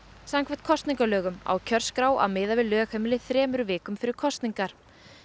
samkvæmt kosningalögum á kjörskrá að miða við lögheimili þremur vikum fyrir kosningar